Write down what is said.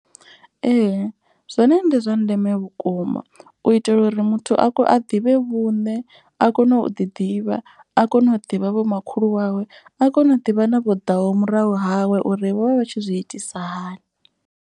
Ee zwone ndi zwa ndeme vhukuma u itela uri muthu a ḓivhe vhuṋe. A kone u ḓi ḓivha a kone u ḓivha vho makhulu wawe. A kone u ḓivha na vho ḓaho murahu hawe uri vho vha vha tshi zwi itisa hani.